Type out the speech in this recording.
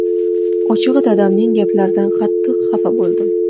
Ochig‘i, dadamning gaplaridan qattiq xafa bo‘ldim.